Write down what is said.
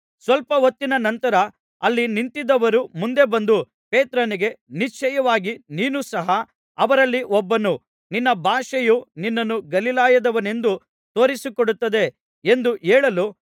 ಸ್ವಲ್ಪ ಹೊತ್ತಿನ ನಂತರ ಅಲ್ಲಿ ನಿಂತಿದ್ದವರು ಮುಂದೆ ಬಂದು ಪೇತ್ರನಿಗೆ ನಿಶ್ಚಯವಾಗಿ ನೀನೂ ಸಹ ಅವರಲ್ಲಿ ಒಬ್ಬನು ನಿನ್ನ ಭಾಷೆಯೇ ನಿನ್ನನ್ನು ಗಲಿಲಾಯದವನೆಂದು ತೋರಿಸಿಕೊಡುತ್ತದೆ ಎಂದು ಹೇಳಲು